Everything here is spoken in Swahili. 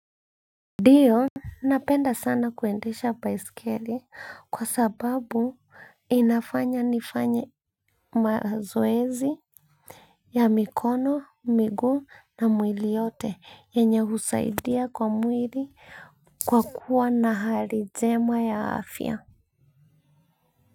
Dio, napenda sana kuendesha baiskeli kwa sababu inafanya nifanye mazoezi ya mikono, miguu na mwili yote yenye husaidia kwa mwili kwa kuwa na hali njema ya afya.